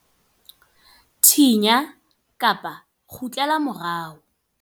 Thinya kgutlela morao.